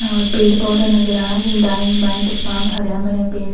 और पेड़ पौधा नजर आणा छिन दायीं बायीं तिर्फा हर्यां-भर्यां पेड़।